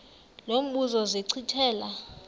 lo mbuzo zachithela